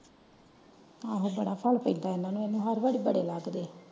ਆਹੋ ਬੜਾ ਫੈਲ ਪੇਡਾਂ ਏਹੁ ਹੜ੍ਹ ਵਾਰ ਬੜੇ ਲੱਗਦੇ।